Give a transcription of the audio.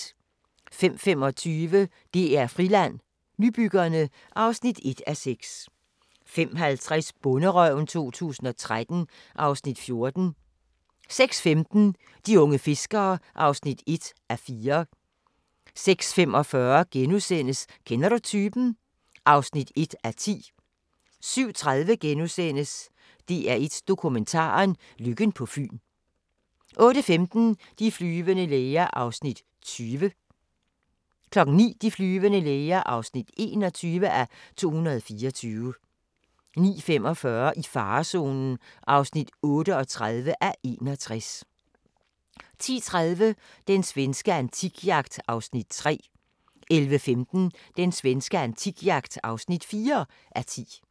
05:25: DR-Friland: Nybyggerne (1:6) 05:50: Bonderøven 2013 (Afs. 14) 06:15: De unge fiskere (1:4) 06:45: Kender du typen? (1:10)* 07:30: DR1 Dokumentaren: Lykken på Fyn * 08:15: De flyvende læger (20:224) 09:00: De flyvende læger (21:224) 09:45: I farezonen (38:61) 10:30: Den svenske antikjagt (3:10) 11:15: Den svenske antikjagt (4:10)